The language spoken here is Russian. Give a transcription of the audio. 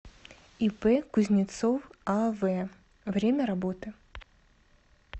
ип кузнецов ав время работы